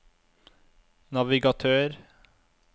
navigatør